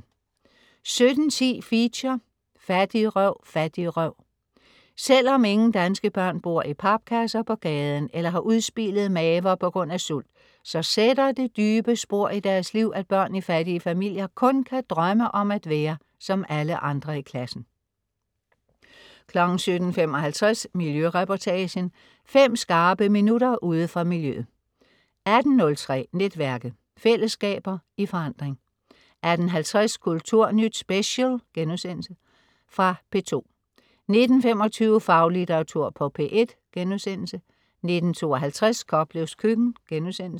17.10 Feature: Fattigrøv Fattigrøv! Selvom ingen danske børn bor i papkasser på gaden eller har udspilede maver på grund af sult, så sætter det dybe spor i deres liv, at børn i fattige familier kun kan drømme om at være som alle andre i klassen 17.55 Miljøreportagen. Fem skarpe minutter ude fra miljøet 18.03 Netværket. Fællesskaber i forandring 18.50 Kulturnyt Special.* Genudsendelse fra P2 19.25 Faglitteratur på P1* 19.52 Koplevs Køkken*